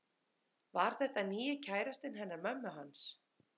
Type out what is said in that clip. Var þetta nýji kærastinn hennar mömmu hans?